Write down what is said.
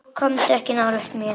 Komdu ekki nálægt mér.